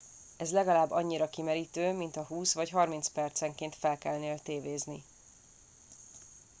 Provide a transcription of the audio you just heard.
ez legalább annyira kimerítő mintha húsz vagy harminc percenként felkelnél tévézni